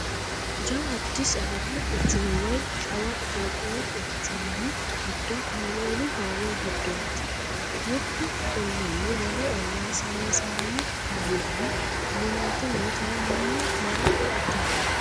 Jawu Addisi Abbabu quchumi woyi shawa Itophiyu quchumi giddo kaameelu hoowe giddoti mitu ollinni wole olla saysano kaamella dunante nootera mannu marre eatella.